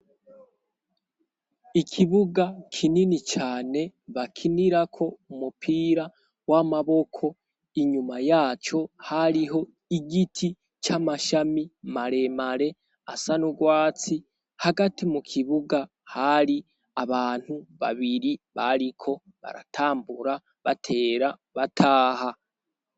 Ikibuga kinini cane bakinirako umupira w'amaboko inyuma yaco hariho igiti c'amashami mare mare asa n'ugwatsi hagati mu kibuga hari abantu babiri bariko baratambuka batera bataha.